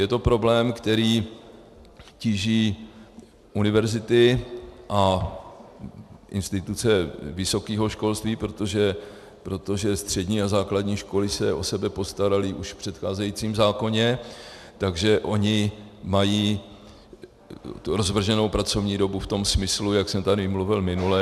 Je to problém, který tíží univerzity a instituce vysokého školství, protože střední a základní školy se o sebe postaraly už v předcházejícím zákoně, takže ony mají rozvrženou pracovní dobu v tom smyslu, jak jsem tady mluvil minule.